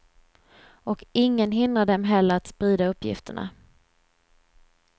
Och ingen hindrar dem heller att sprida uppgifterna.